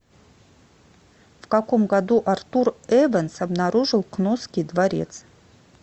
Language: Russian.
в каком году артур эванс обнаружил кносский дворец